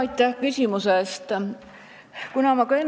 Aitäh küsimuse eest!